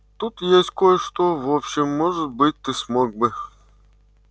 тут есть кое-что в общем может быть ты смог бы